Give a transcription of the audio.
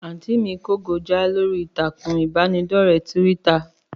Àntí mí kó go já lórí ìtàkùn ìbánidọ́rẹ́ tíwíttà.